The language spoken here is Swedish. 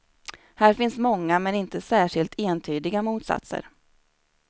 Här finns många men inte särskilt entydiga motsatser.